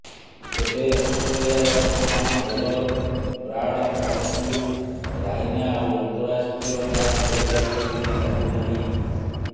ତେବେ ଅଷ୍ଟ୍ରେଲିଆର ମହାନ ବୋଲର ବ୍ରାଡ୍ ହଗ୍ଙ୍କୁ ରାଇନା ଆଉ ଅନ୍ତରାଷ୍ଟ୍ରୀୟ ମ୍ୟାଚ୍ ଖେଳିପାରିବେ ବୋଲି ଲାଗୁନାହିଁ